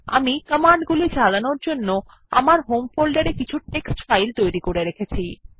আমি কমান্ডগুলি চালানোর জন্য আমার হোম ফোল্ডারে কিছু টেক্সট ফাইল তৈরী করে রেখেছি